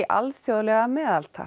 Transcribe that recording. alþjóðlega meðaltal